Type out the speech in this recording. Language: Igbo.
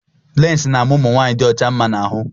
Leesi na ama ụmụnwanyị dị ọcha mma na ahụ.